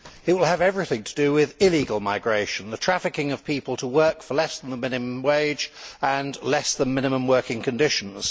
It will have everything to do with illegal migration the trafficking of people to work for less than the minimum wage and less than minimum working conditions.